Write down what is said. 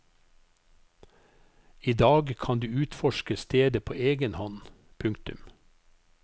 I dag kan du utforske stedet på egen hånd. punktum